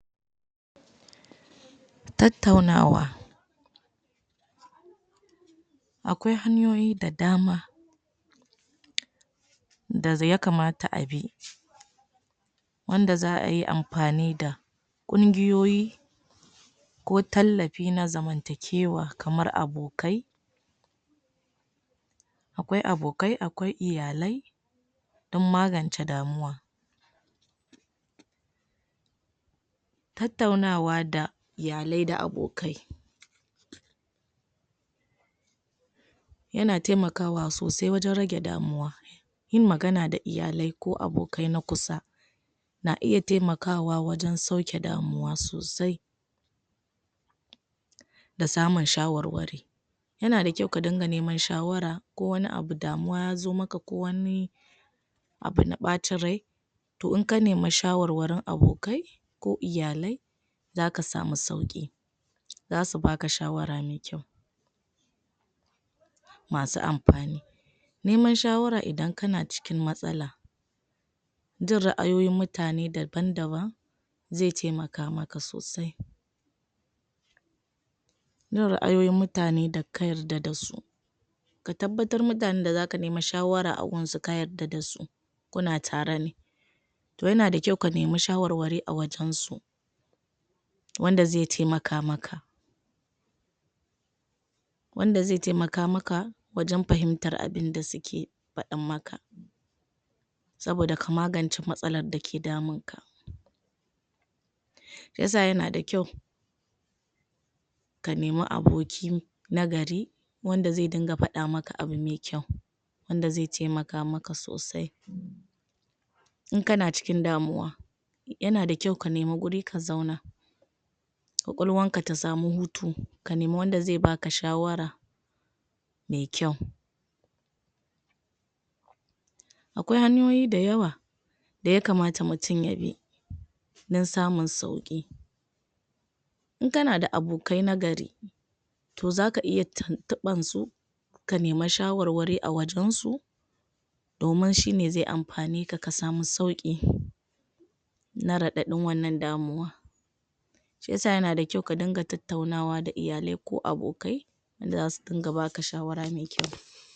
tattaunawa akwai hanyoyi da dama da yakamata abi wanda za'ayi anfani da ƙungiyoyi ko tallafi na zaman takiwa kamar abokai akwai abokai akwai iyalai dan magance damuwa tattaunaawa da iyalai da abokai yana taimakawa sosai wajan rage damuwa yin magana da iyalai ko abokai na kusa na iya taimakawa wajan sauki damuwa sosai da samun shawar wari yanada kyau kadinga neman shawara ko wani abu damuwa ya zomaka ko wani abuna bacin rai to inkanima shawarwarin abokai ko iyalai zaka sama sauƙi zasubaka shawara mai kyau masu anfani nema shawara idan kana cikin matsala jin ra'ayoyin mutane daban-daban zai taimakamaka sosai jin ra'ayoyin mutane daka yarda dasu katabbatar mutan dazaka nema shawara agunsu ka yarda dasu kuna tarene to yanda kyau kanima shawar ware acikin su wanda zai taimaka maka wanda zai taimaka maka wajan fahimtar abunda suki fadan maka saboda ka magance matsalar daki damun ka shiyasa yanada kyau kanima aboki na gari wanda zai dinga faɗa maka abumai kyau wanda zai taimaka maka sosai inkana cikin damuwa yanada kyau kanima guri ka zauna ƙwaƙwalwanka tasamu hutu kanima wanda zai baka shawara mai kyau akwai hanyoyi dayawa da yakamata mutun yabi dan samun sauki inkanada abokai na gari to zaka iya tintiɓar su kanima shawarwari awajan su domin shine zai anfaneka kasamu sauki na raɗaɗin wannan damuwa shiyasa yanada kyau kadinga tattau nawa da iyalai ko abokai wanda zasu dinga baka shawara mai kyau